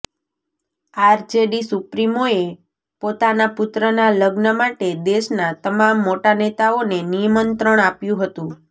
RJD સુપ્રીમોએ પોતાનાં પુત્રનાં લગ્ન માટે દેશનાં તમામ મોટા નેતાઓને નિમંત્રણ આપ્યું હતું